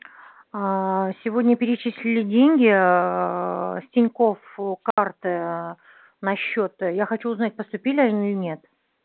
аа сегодня перечислили деньги аа с тинькофф ээ карты на счёт я хочу узнать поступили они или нет